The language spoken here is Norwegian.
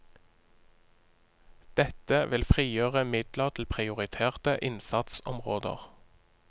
Dette vil frigjøre midler til prioriterte innsatsområder.